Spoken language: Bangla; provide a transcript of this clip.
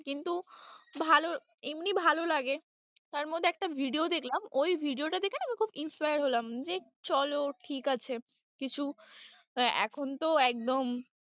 কিন্ত, ভালো এমনি ভালো লাগে তার মধ্যে একটা video দেখলাম, ওই video টা দেখে না আমি খুব inspired হলাম যে চলো ঠিক আছে কিছু এখন তো একদম।